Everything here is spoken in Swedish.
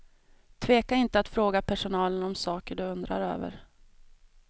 Tveka inte att fråga personalen om saker du undrar över.